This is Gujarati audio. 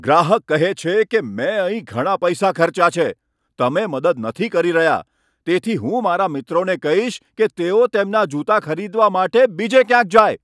ગ્રાહક કહે છે કે, મેં અહીં ઘણા પૈસા ખર્ચ્યા છે. તમે મદદ નથી કરી રહ્યા, તેથી હું મારા મિત્રોને કહીશ કે તેઓ તેમના જૂતા ખરીદવા માટે બીજે ક્યાંક જાય.